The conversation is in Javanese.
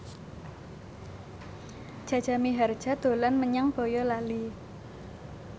Jaja Mihardja dolan menyang Boyolali